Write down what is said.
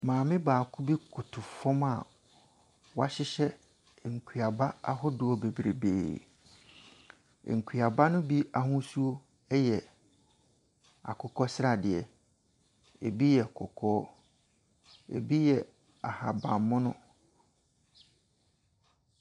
Maame baako bi koto fam a woahyehyɛ nkuaba ahodoɔ bebree. Nkuaba no bi ahosuo ɛyɛ akokɔ sradeɛ. Ebi yɛ kɔkɔɔ, ebi yɛ ahaban mono.